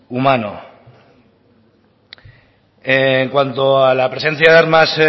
humano en cuanto a la presencia de armas